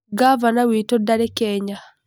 Ngavana witũ ndarĩ Kenya.